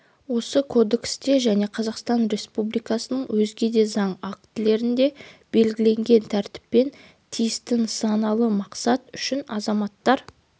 осы кодексте және қазақстан республикасының өзге де заң актілерінде белгіленген тәртіппен тиісті нысаналы мақсат үшін азаматтар